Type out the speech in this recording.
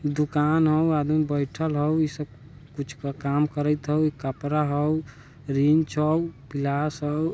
दुकान हउ आदमी बइठल हउ इ सा कुछ काम करत हउ एक कपरा हउ रिंच हउ पिलास हउ।